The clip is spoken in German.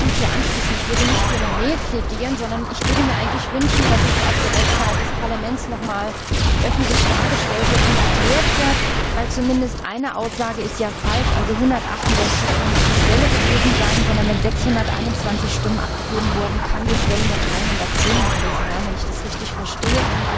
Ich möchte mich anschließen und nicht für eine Mail plädieren, sondern ich würde mir eigentlich wünschen, dass es auf der Website des Parlaments noch einmal öffentlich dargestellt und erklärt wird, denn zumindest eine Aussage ist ja falsch 168 kann nicht die Schwelle gewesen sein, sondern wenn 621 Stimmen abgegeben wurden, kann die Schwelle nur 310 gewesen sein, wenn ich das richtig verstehe.